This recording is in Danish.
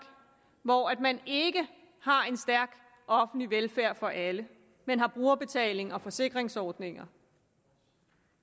hvor man ikke har en stærk offentlig velfærd for alle men har brugerbetaling og forsikringsordninger